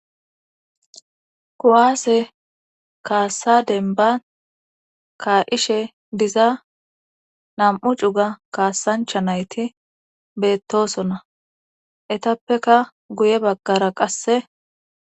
Kuwaase kaassa denba ka7ishe diza nam7u cuga kaassancha nayti beettosona etappeka guye baggara qasse.